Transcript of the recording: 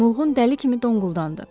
Mulğun dəli kimi donquldandı.